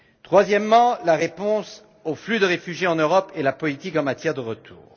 Troisièmement, la réponse aux flux de réfugiés en Europe et la politique en matière de retour.